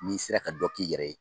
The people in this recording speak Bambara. N'i sera ka dɔ k'i yɛrɛ ye.